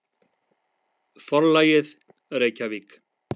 Forlagið, Reykjavík.